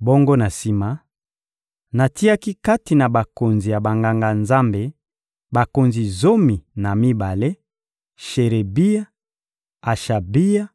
Bongo na sima, natiaki kati na bakonzi ya Banganga-Nzambe bakonzi zomi na mibale: Sherebia, Ashabia